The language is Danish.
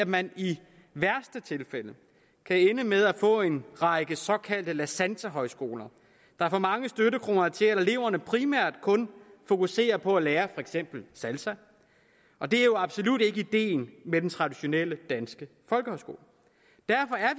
man i værste tilfælde kan ende med at få en række såkaldte la santa højskoler der får mange støttekroner til at eleverne primært kun fokuserer på at lære for eksempel salsa og det er jo absolut ikke ideen med den traditionelle danske folkehøjskole derfor er